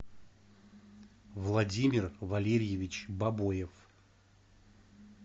владимир валерьевич бабоев